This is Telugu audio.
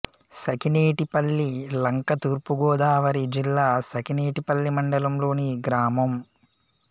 సఖినేటిపల్లి లంక తూర్పు గోదావరి జిల్లా సఖినేటిపల్లి మండలం లోని గ్రామం